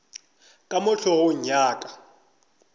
ka mo hlogong ya ka